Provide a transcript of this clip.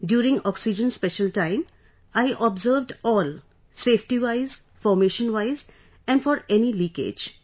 During oxygen special time I observed all safety wise, formation wise and for any leakage